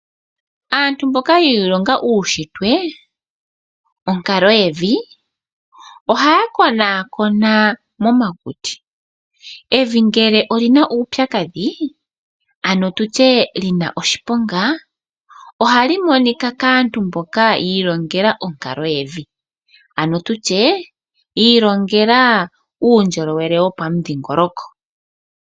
Aantu mboka yi ilonga uushitwe, onkalo yevi, ohaya konakona momakuti. Evi ngele olina uupyakadhi ano tutye lina oshiponga, ohali monika kaantu mboka yi ilongele onkalo yevi, ano tutye yi ilongela uundjolowele wopamudhingoloko.